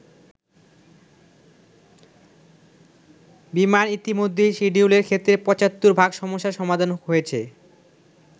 “বিমান ইতোমধ্যেই শিডিউলের ক্ষেত্রে ৭৫ ভাগ সমস্যার সমাধান হয়েছে।